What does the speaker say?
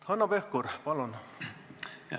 Hanno Pevkur, palun!